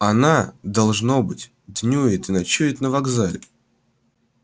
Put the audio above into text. она должно быть днюет и ночует на вокзале